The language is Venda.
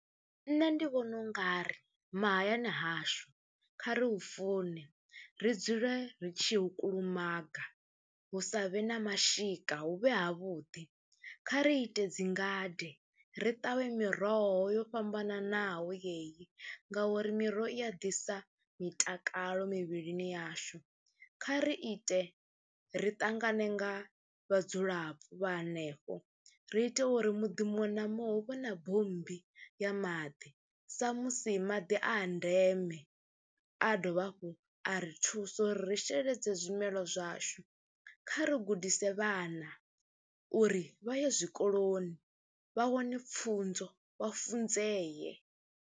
Nṋe ndi vhona u nga ri mahayani hashu kha re hu fune, ri dzule ri tshi ya u kulumaga, hu sa vhe na mashika, hu vhe havhuḓi. Kha ri ite dzi ngade, ri ṱavhe miroho yo fhambananaho yeyi ngauri miroho i a ḓisa mitakalo mivhilini yashu. Kha ri ite ri ṱangane nga vhadzulapo vha hanefho ri ite uri muḓi muṅwe na muṅwe hu vhe na bommbi ya maḓi sa musi maḓi a a ndeme, a dovha hafhu a ri thusa uri ri sheledze zwimela zwashu. Kha ri gudise vhana uri vha ye zwikoloni vha wane pfhunzo, wa funzee.